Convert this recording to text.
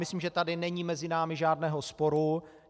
Myslím, že tady není mezi námi žádného sporu.